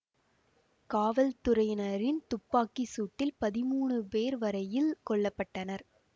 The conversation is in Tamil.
காவல்துறையினரின் துப்பாக்கி சூட்டில் பதிமூனு பேர் வரையில் கொல்ல பட்டனர்